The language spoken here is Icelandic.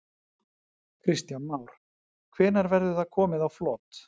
Kristján Már: Hvenær verður það komið á flot?